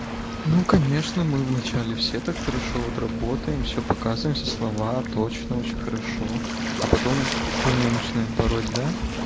ну конечно мы вначале все так хорошо вот работаем всё показываем все слова точно очень хорошо а потом херню начинаем пороть да